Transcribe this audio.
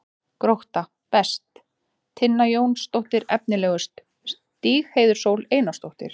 Grótta: Best: Tinna Jónsdóttir Efnilegust: Stígheiður Sól Einarsdóttir